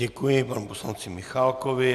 Děkuji panu poslanci Michálkovi.